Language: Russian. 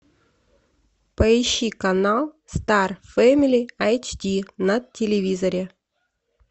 поищи канал стар фэмили эйч ди на телевизоре